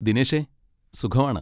ദിനേഷേ, സുഖമാണ്.